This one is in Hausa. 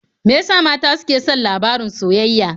Me ya sa mata suke son labarin soyayya?